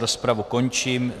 Rozpravu končím.